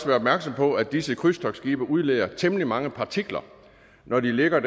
være opmærksom på at disse krydstogtskibe udleder temmelig mange partikler når de ligger